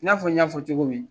I n'a fɔ n y'a fɔ cogo min.